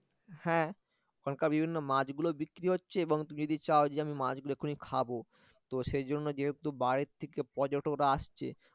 হ্যাঁ ওখানকার বিভিন্ন মাছগুলো বিক্রি হচ্ছে এবং তুমি যদি চাও যে আমি মাছ গুলো এক্ষুনি খাবো তো সেই জন্যে যেহেতু বাইরে থেকে পর্যটক রা আসছে